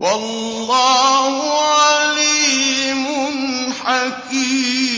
وَاللَّهُ عَلِيمٌ حَكِيمٌ